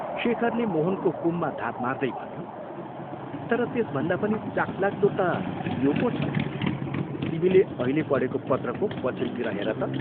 शेखरले मोहनको कुममा धाप मार्दै भन्यो, "तर त्यसभन्दा पनि चाखलाग्दो ता यो पो छ तिमीले अहिले पढेको पत्रको पछिल्तिर हेर त!